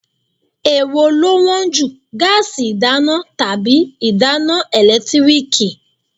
Èwo ló wón jù, gáásì ìdáná tàbí ìdáná ẹ̀lẹ́tíríkì?